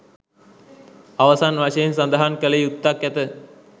අවසන් වශයෙන් සදහන් කල යුත්තක් ඇත